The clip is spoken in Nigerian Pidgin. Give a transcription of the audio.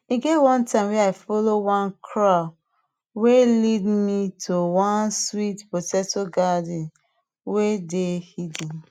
e get one time wey i follow one crow wey lea me to one sweet potato garden wey dey hidden